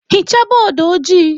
Hichaa bọọdụ ojii!